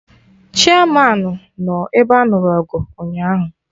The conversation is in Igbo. Chiamanụ nọ ebe anụrụ ọgụ ụnyaahụ